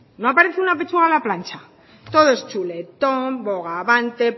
no aparece una pechuga a la plancha todo es chuletón bogavante